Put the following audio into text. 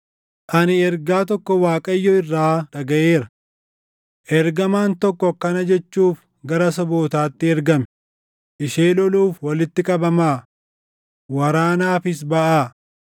Ani ergaa tokko Waaqayyo irraa dhagaʼeera: Ergamaan tokko akkana jechuuf gara sabootaatti ergame; “Ishee loluuf walitti qabamaa! Waraanaafis baʼaa!”